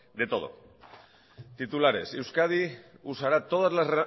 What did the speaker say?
de todo titulares euskadi usará toda las